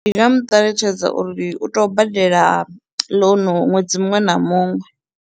Ndi nga mu ṱalutshedza uri u tou badela loan ṅwedzi muṅwe na muṅwe.